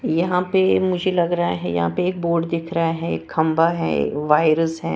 यहां पे मुझे लग रहा है यहां पे एक बोर्ड दिख रहा है खंबा है वायरस है।